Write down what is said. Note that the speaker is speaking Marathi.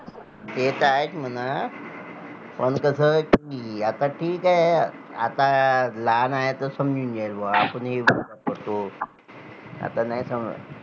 ते तर आहेच म्हणा पण कसं कि आता ठीक आहे, आता लहान आहे तर समजून जाईल बा आपण हि करतो आता नाही